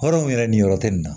Hɔrɔnw yɛrɛ ni yɔrɔ tɛ nin na